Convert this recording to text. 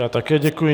Já také děkuji.